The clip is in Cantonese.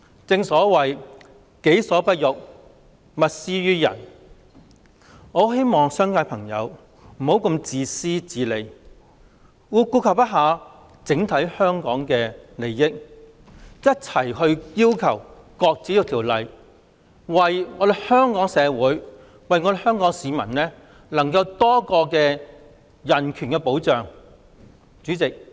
正所謂"己所不欲，勿施於人"，我很希望商界的朋友不要如此自私自利，並顧及整體香港的利益，一併支持擱置《條例草案》，讓香港社會、市民能享有多一重人權保障。